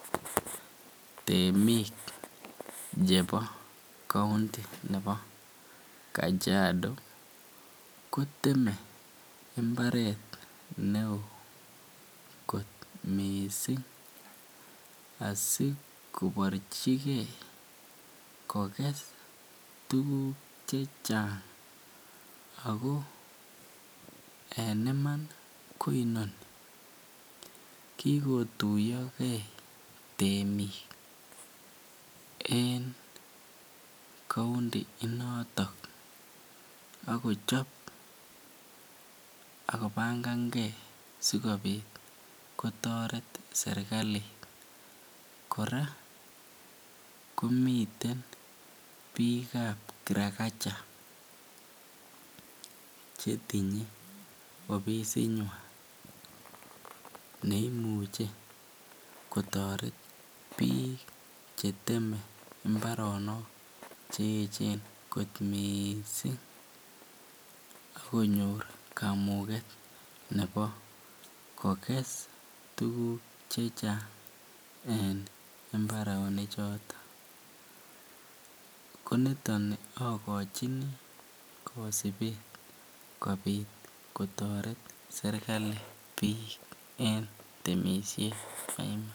Temik chebo counti nebo Kajiado koteme imbaret neoo kot mising asikoborchike kokes tukuk chechang ak ko en iman ko inoni, kikotuyoke temik en couunti inoton ak kochob ak kobangange sikobit kotoret serikali, kora komiten biikab kirakaja chetinye ofisinywan neimuche kotoret biik cheteme imbaronok che echen kot mising ak konyor kamuket nebo kokes tukuk chechang en imbaroni choton, koniton okochini kosibet kobiit kotoret serikali en temishet.